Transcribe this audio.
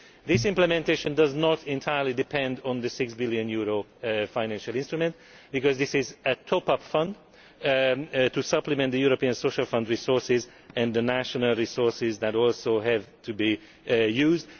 This implementation does not entirely depend on the EUR 6 billion financial instrument, because this is a top up fund to supplement the European Social Fund resources and the national resources that also have to be used.